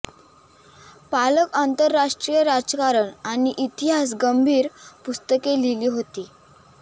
पालक आंतरराष्ट्रीय राजकारण आणि इतिहास गंभीर पुस्तके लिहिली होती